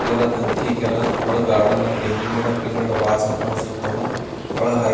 ಎಲ್ಲ ತಂತಿ ಹಾಕಾರ ಒಳಗೆ ಗಾರ್ಡನ್ ತೇಗಿನ ಗಿಡ ಬಹಳ ಚೆನ್ನಾಗಿ ಕಾನ್ಸ್ಥಿತವಾ ಒಳಗೆ--